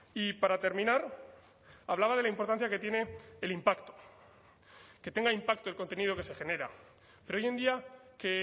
y para terminar hablaba de la importancia que tiene el impacto que tenga impacto el contenido que se genera pero hoy en día que